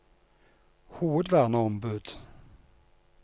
hovedverneombud